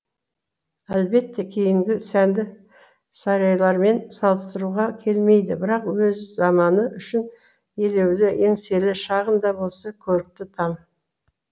әлбетте кейінгі сәнді сарайлармен салыстыруға келмейді бірақ өз заманы үшін елеулі еңселі шағын да болса көрікті там